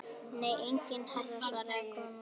Nei enginn herra svaraði konan.